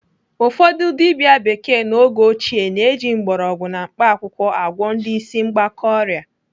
Ụfọdụ dibịa bekee n'oge ochie na-eji mgbọrọgwụ na mkpaakwụkwọ agwọ ndị ịsị mgbaka ọrịa.